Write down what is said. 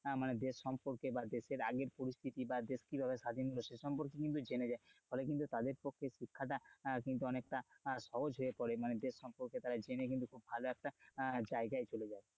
মানে দেশ সম্পর্কে বা দেশের আগের পরিস্থিতি বা দেশ কিভাবে স্বাধীন হলো সে সম্পর্কে কিন্তু জেনে যায়, ফলে কিন্তু তারের পক্ষে শিক্ষাটা কিন্তু অনেকটা সহজ হয়ে পড়ে, মানে দেশ সম্পর্কে তারা জেনে কিন্তু খুব ভালো একটা জায়গায় চলে যায়,